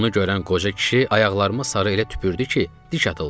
Bunu görən qoca kişi ayaqlarıma sarı elə tüpürdü ki, deş atıldım.